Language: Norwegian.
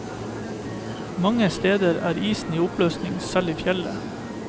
Mange steder er isen i oppløsning selv i fjellet.